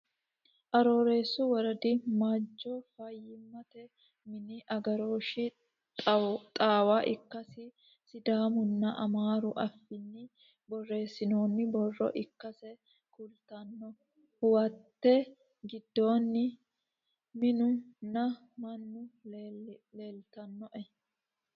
Arooreesu woradi majo fayiimmatte mini agarooshi xaawa ikkasi sidaamu nna amaaru affinni borreessinoonni borro ikkasse kulittanno. Hoowette gidoonni minu nna mannu leelittanno